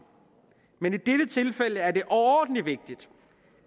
men i dette tilfælde er det overordentlig vigtigt